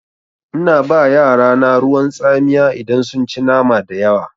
Ina ba yarana ruwan tsamiya idan sun ci nama dayawa.